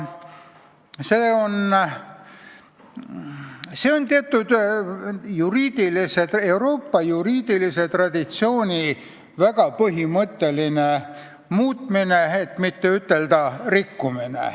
See oli Euroopa teatud juriidilise traditsiooni väga põhimõtteline muutmine, kui mitte ütelda rikkumine.